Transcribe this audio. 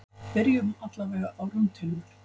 Byrjum allavega á rúntinum.